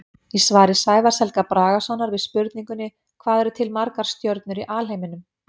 Í svari Sævars Helga Bragasonar við spurningunni Hvað eru til margar stjörnur í alheiminum?